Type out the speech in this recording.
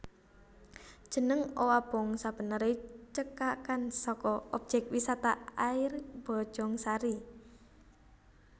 Jeneng Owabong sabeneré cekakan saka Objék Wisata Air Bojongsari